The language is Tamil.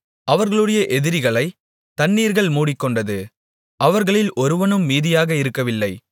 அவர்களுடைய எதிரிகளைத் தண்ணீர்கள் மூடிக்கொண்டது அவர்களில் ஒருவனும் மீதியாக இருக்கவில்லை